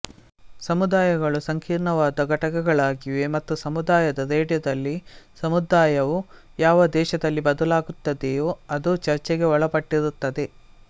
ಸಮುದಾಯಗಳು ಸಂಕೀರ್ಣವಾದ ಘಟಕಗಳಾಗಿವೆ ಮತ್ತು ಸಮುದಾಯದ ರೇಡಿಯೋದಲ್ಲಿ ಸಮುದಾಯ ವು ಯಾವ ದೇಶದಲ್ಲಿ ಬದಲಾಗುತ್ತದೆಯೋ ಅದು ಚರ್ಚೆಗೆ ಒಳಪಟ್ಟಿರುತ್ತದೆ